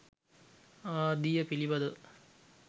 ආදිය පිළිබඳව